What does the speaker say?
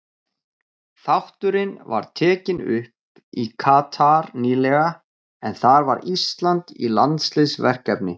Þátturinn var tekinn upp í Katar nýlega en þar var Ísland í landsliðsverkefni.